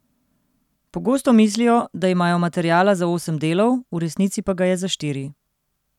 Pogosto mislijo, da imajo materiala za osem delov, v resnici pa ga je za štiri.